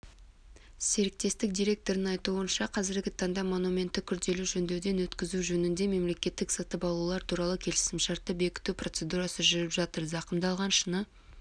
серіктестік директорының айтуынша қазіргі таңда монументті күрделі жөндеуден өткізу жөнінде мемлекеттік сатып алулар туралы келісімшартты бекіту процедурасы жүріп жатыр зақымдалған шыны